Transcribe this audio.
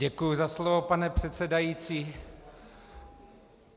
Děkuji za slovo, pane předsedající.